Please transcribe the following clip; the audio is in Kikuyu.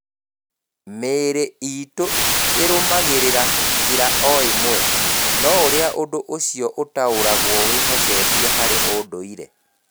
Mĩĩrĩ itũ ĩrũmagĩrĩra njĩra o ĩmwe, no ũrĩa ũndũ ũcio ũtaũragwo wĩhocetie harĩ ũndũire.